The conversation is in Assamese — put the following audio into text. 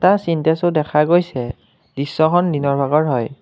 এটা চিন্তেছো দেখা গৈছে দৃশ্যখন দিনৰ ভাগৰ হয়।